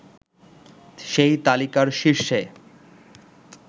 সেই তালিকার শীর্ষে